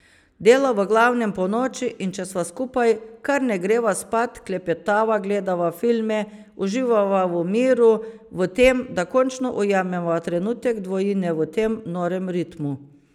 Dela v glavnem ponoči, in če sva skupaj, kar ne greva spat, klepetava, gledava filme, uživava v miru, v tem, da končno ujameva trenutek dvojine v tem norem ritmu.